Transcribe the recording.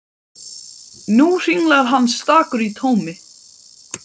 Nú hringlar hann stakur í tómi.